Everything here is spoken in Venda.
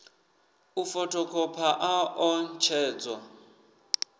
u fothokhopha a ḓo ṋetshedzwa